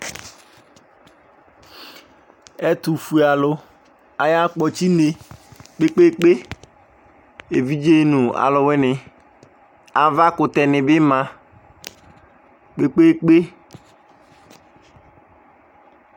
Etufuealʊ aya kpɔtsi une kpe kpe kpe, evidze nʊ alʊwini Avakʊtɛni bi ma kpe kpe kpe